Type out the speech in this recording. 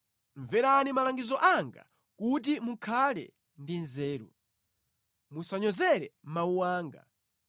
Mverani malangizo anga kuti mukhale ndi nzeru; musanyozere mawu anga.